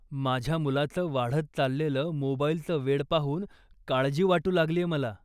माझ्या मुलाचं वाढत चाललेलं मोबाईलचं वेड पाहून काळजी वाटू लागलीये मला.